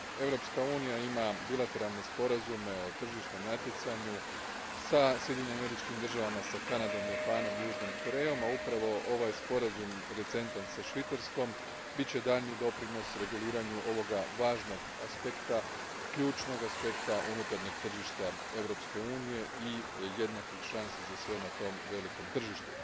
Europska unija ima bilateralne sporazume o tržišnom natjecanju sa Sjedinjenim Američkim Državama, sa Kanadom, Japanom i Južnom Korejom, a upravo ovaj recentan sporazum sa Švicarskom bit će daljnji doprinos reguliranju ovoga važnog aspekta, ključnog aspekta unutarnjeg tržišta Europske unije i jednakih šansi za sve na tom velikom tržištu.